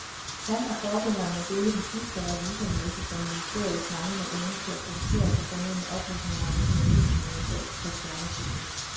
Han og forgængeren må dele den sidste revisornæse for ministeriets manglende evne til at producere de fornødne oplysninger om økonomien i en eventuel kaserneflytning.